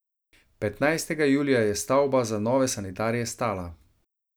Petnajstega julija je stavba za nove sanitarije stala.